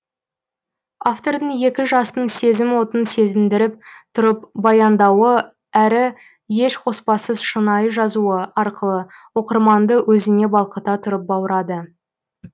автордың екі жастың сезім отын сезіндіріп тұрып баяндауы әрі еш қоспасыз шынайы жазуы арқылы оқырманды өзіне балқыта тұрып баурады